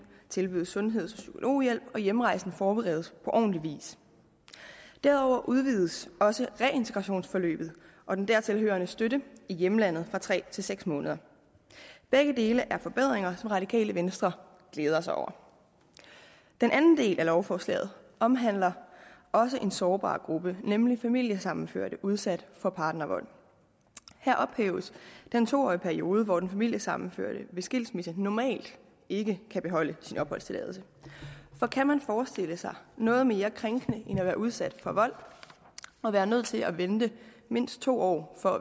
tilbydes sundhed og psykologhjælp og hjemrejsen forberedes på ordentlig vis derudover udvides også reintegrationsforløbet og den dertil hørende støtte i hjemlandet fra tre til seks måneder begge dele er forbedringer som radikale venstre glæder sig over den anden del af lovforslaget omhandler også en sårbar gruppe nemlig familiesammenførte udsat for partnervold her ophæves den to årige periode hvor den familiesammenførte ved skilsmisse normalt ikke kan beholde sin opholdstilladelse for kan man forestille sig noget mere krænkende end at være udsat for vold og være nødt til at vente mindst to år for